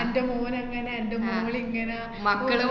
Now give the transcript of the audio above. അന്‍റെ മോനങ്ങനെ എന്‍റെ മോളിങ്ങനെ